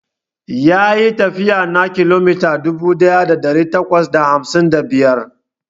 Yayi tafiya na kilomita dubu daya da dari takwas da hamsin da biyar.